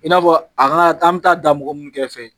I n'a fɔ kan ka an bɛ taa da mɔgɔ min kɛrɛfɛ